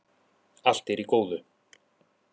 Allt er í góðu